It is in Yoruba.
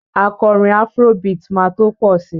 Akọrin afro beat máa tó pọ̀ si